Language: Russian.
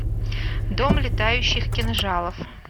дом летающих кинжалов